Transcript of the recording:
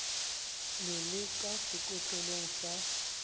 le le ka sekotlong sa